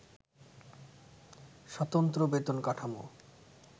স্বতন্ত্র বেতন কাঠামো